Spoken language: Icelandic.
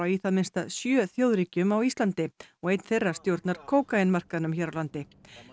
í það minnsta sjö þjóðríkjum á Íslandi og einn þeirra stjórnar kókaínmarkaðnum hér á landi